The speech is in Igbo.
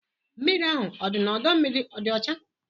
Mmiri ahụ dị n'ọdọ mmiri ọ dị ọcha?